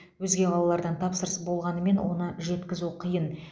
өзге қалалардан тапсырыс болғанымен оны жеткізу қиын